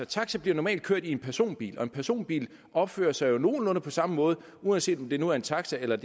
taxa bliver normalt kørt i en personbil og en personbil opfører sig jo nogenlunde på samme måde uanset om det nu er en taxa eller